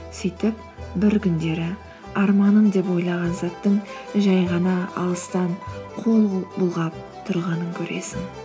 сөйтіп бір күндері арманым деп ойлаған заттың жай ғана алыстан қол бұлғап тұрғанын көресің